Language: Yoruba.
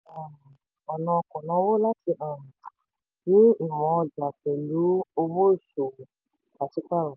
um ọ̀nà kònáwó láti um ní ìmọ̀ ọjà pẹ̀lú owó ìṣòwò pàṣípààrọ̀.